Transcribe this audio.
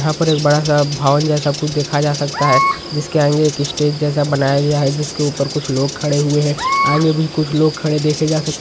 यहाँ पर एक बड़ा-सा भवन जैसा कुछ देखा जा सकता है जिसके आगे स्टेज जैसा बनाया गया है जिसके ऊपर कुछ लोग खड़े हुए है आगे भी कुछ लोग खड़े देखे जा सक --